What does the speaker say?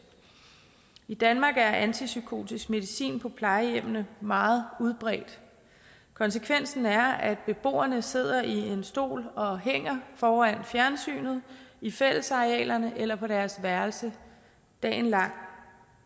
i danmark er brugen af antipsykotisk medicin på plejehjemmene meget udbredt konsekvensen er at beboerne sidder i en stol og hænger foran fjernsynet i fællesarealerne eller på deres værelse dagen lang